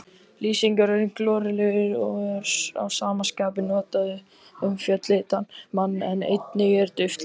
Lýsingarorðið glorulegur er að sama skapi notað um fölleitan mann en einnig um dauft ljós.